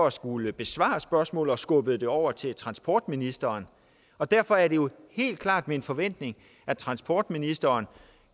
at skulle besvare spørgsmålet og skubbede det over til transportministeren og derfor er det jo helt klart min forventning at transportministeren